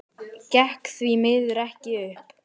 Gekk því miður ekki upp.